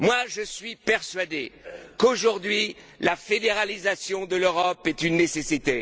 Je suis persuadé qu'aujourd'hui, la fédéralisation de l'Europe est une nécessité.